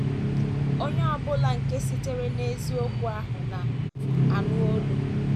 Onye ọ bụla nke sitere n’eziokwu ahụ na - anụ olu m. ”